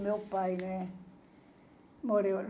O meu pai né morreu.